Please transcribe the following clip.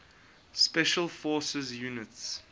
special forces units